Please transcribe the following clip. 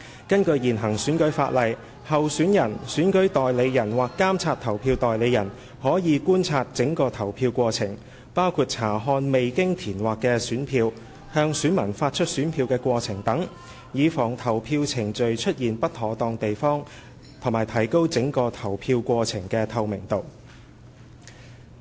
根據現行選舉法例，候選人/選舉代理人/監察投票代理人可觀察整個投票過程，包括查看未經填劃的選票，向選民發出選票的過程等，以防投票程序出現不妥當地方及提高整個投票過程的透明度。